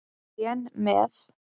Lén með.